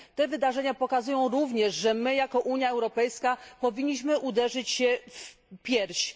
Te wydarzenia pokazują również, że my jako Unia Europejska powinniśmy uderzyć się w piersi.